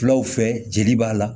Fulaw fɛ jeli b'a la